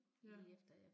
Ja